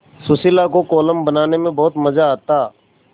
सुशीला को कोलम बनाने में बहुत मज़ा आता